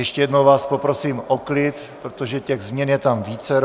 Ještě jednou vás poprosím o klid, protože těch změn je tam vícero.